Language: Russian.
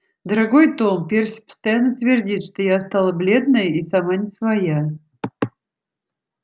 дорогой том перси постоянно твердит что я стала бледная и сама не своя